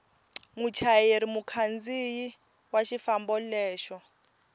muchayeri mukhandziyi wa xifambo lexo